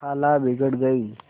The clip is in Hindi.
खाला बिगड़ गयीं